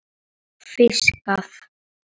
Hvað hefur hann fiskað?